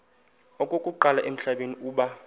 okokuqala emhlabeni uba